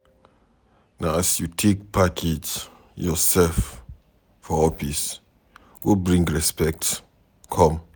Na as you take package yoursef for office go bring respect come.